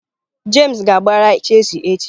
James ga-agbara Chealsea echi.